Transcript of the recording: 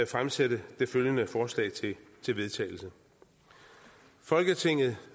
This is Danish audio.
fremsætte følgende forslag til vedtagelse folketinget